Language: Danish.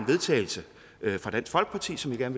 vedtagelse fra dansk folkeparti som jeg